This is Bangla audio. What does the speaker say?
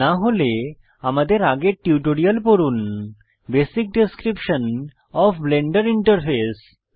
না হলে আমাদের আগের টিউটোরিয়ালটি পড়ুন basic description of Blender interface